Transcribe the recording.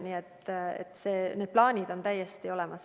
Nii et need plaanid on täiesti olemas.